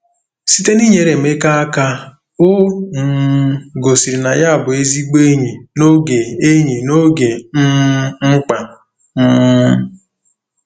Site n'inyere Emeka aka, o um gosiri na ya bụ ezigbo enyi n'oge enyi n'oge um mkpa. um